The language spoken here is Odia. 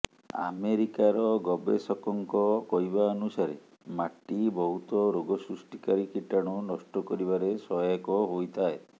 ଆମେରିକାର ଗବେଷକଙ୍କ କହିବା ଅନୁସାରେ ମାଟି ବହୁତ ରୋଗ ସୃଷ୍ଟିକାରୀ କୀଟାଣୁ ନଷ୍ଟ କରିବାରେ ସହାୟକ ହୋଇଥାଏ